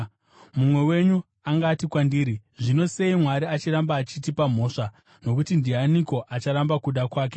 Mumwe wenyu angati kwandiri, “Zvino sei Mwari achiramba achitipa mhosva? Nokuti ndianiko acharamba kuda kwake?”